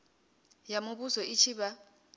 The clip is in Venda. ya muvhuso i tshi vha